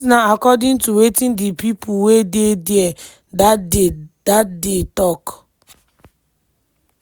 dis na according to wetin di pipo wey dey dia dat day dat day tok.